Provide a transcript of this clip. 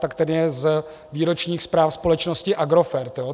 Tak ten je z výročních zpráv společnosti Agrofert.